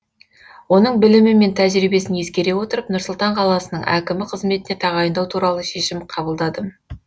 оның білімі мен тәжірибесін ескере отырып нұр сұлтан қаласының әкімі қызметіне тағайындау туралы шешім қабылдадым